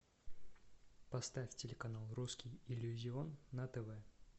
поставь телеканал русский иллюзион на тв